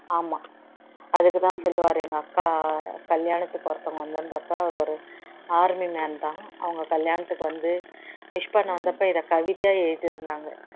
ஆமா அதுக்கு தான் சொல்லுவாரு எங்க அக்கா கல்யாணத்துக்கு ஒருத்தவங்க வந்து இருந்த அப்போ அவரு ஒரு army man தான் அவங்க கல்யாணத்துக்கு வந்து wish பண்ண வந்த அப்போ இதை கவிதையா எழுதி இருந்தாங்க